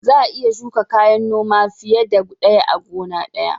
Za a iya shuka kayan noma fiye da ɗaya a gona guda.